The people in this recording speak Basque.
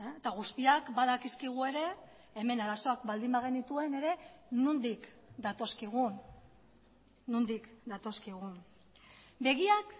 eta guztiak badakizkigu ere hemen arazoak baldin bagenituen ere nondik datozkigun nondik datozkigun begiak